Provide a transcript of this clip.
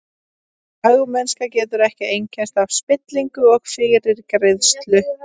Fagmennska getur ekki einkennst af spillingu og fyrirgreiðslu.